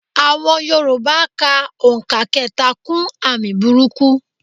Àọn yorùbá ka òǹkà kẹta kún àmì burúkú.